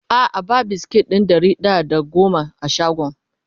a'a ba biskit ɗin Ɗari da da goma a shagon